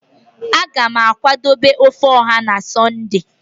a ga m akwadebe ofe oha na sunday